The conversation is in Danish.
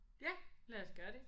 Ja lad os gøre det